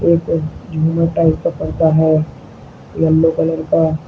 type का पर्दा है येलो कलर का--